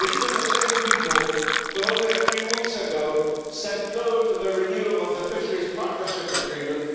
These are the same people who, only a few weeks ago, said no to the renewal of the fisheries partnership agreement.